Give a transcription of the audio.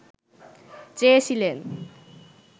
চেয়েছিলেন